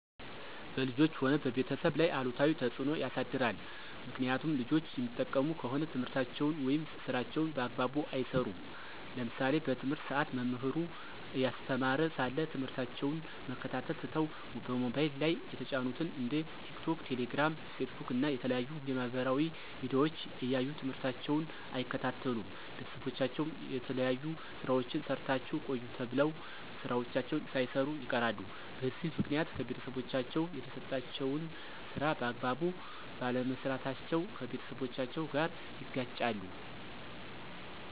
በልጆች ሆነ በቤተሰብ ላይ አሉታዊ ተፅዕኖ ያሳድራል። ምክኒያቱም ልጆች የሚጠቀሙ ከሆነ ትምህርታቸውን ወይም ስራቸውን በአግባቡ አይሰሩም። ለምሳሌ በትምህርት ሰአት መምህሩ እያስተማረ ሳለ ትምህርታቸውን መከታተል ትተው በሞባይል ላይ የተጫኑትን እንደ ቲክቶክ፣ ቴሌግራም፣ ፌስቡክ እና የተለያዩ የማህበራዊ ሚዲያዎች እያዩ ትምህርታቸውን አይከታተሉም። ቤተሰቦቻቸው የተለያዩ ስራዎችን ሰርታችሁ ቆዩ ተብለው ስራዎችን ሳይሰሩ ይቀራሉ። በዚህ ምክኒያት ከቤተሰቦቻቸው የተሰጣቸውን ስራ በአግባቡ ባለመስራታቸው ከቤተሰቦቻቸው ጋር ይጋጫሉ።